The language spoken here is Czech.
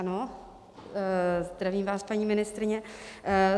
Ano, zdravím vás, paní ministryně.